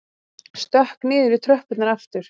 Stökk niður í tröppurnar aftur.